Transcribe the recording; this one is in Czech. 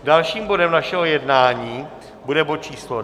Dalším bodem našeho jednání bude bod číslo